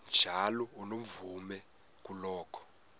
njalo unomvume kuloko